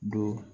Don